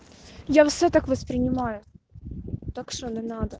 я все так воспринимаю так что не надо